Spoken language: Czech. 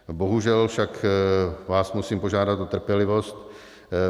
Bohužel však vás musím požádat o trpělivost.